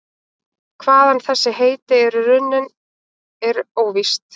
Hvaðan þessi heiti eru runnin er óvíst.